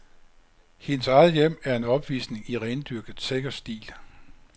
Hendes eget hjem er en opvisning i rendyrket, sikker stil.